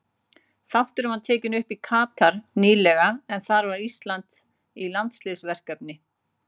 Þátturinn var tekinn upp í Katar nýlega en þar var Ísland í landsliðsverkefni.